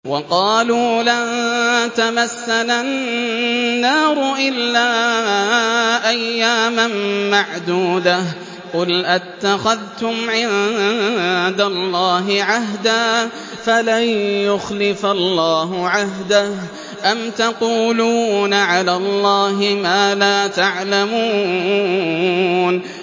وَقَالُوا لَن تَمَسَّنَا النَّارُ إِلَّا أَيَّامًا مَّعْدُودَةً ۚ قُلْ أَتَّخَذْتُمْ عِندَ اللَّهِ عَهْدًا فَلَن يُخْلِفَ اللَّهُ عَهْدَهُ ۖ أَمْ تَقُولُونَ عَلَى اللَّهِ مَا لَا تَعْلَمُونَ